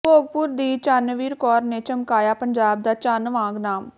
ਭੋਗਪੁਰ ਦੀ ਚੰਨਵੀਰ ਕੌਰ ਨੇ ਚਮਕਾਇਆ ਪੰਜਾਬ ਦਾ ਚੰਨ ਵਾਂਗ ਨਾਮ